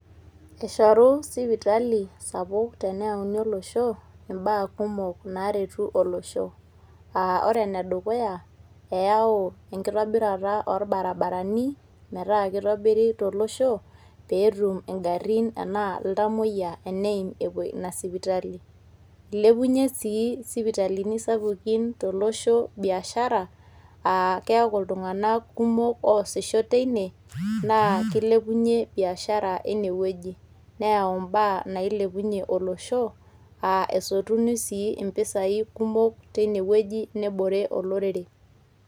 Eshoru sipitali sapuk teneoni olosho imbaa kumok naretu olosho. Ah ore enedukuya, eyao ekitobirata o barabarani meeta kitobiri to losho, petum igarrin enaa iltamoyia eneim enepuo ina sipitali. Ilepunye si isipitalini sapukin tolosho biashara ah keeku iltung'anak kumok oosisho teine, na kilepunye biashara eine wueji. Neyao mbaa nailepunye olosho ah esotuni si impisai kumok teine wueji nebore olorere.